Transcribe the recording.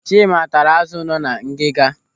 Chima taara azụ nọ na ngiga.